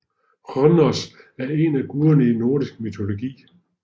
Hnoss er en af guderne i nordisk mytologi